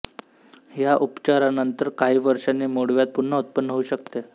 ह्या उपचारानंतर काही वर्षांनी मुळव्याध पुन्हा उत्पन्न होऊ शकते